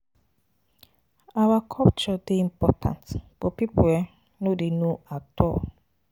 Our culture dey important but people um no dey know at all.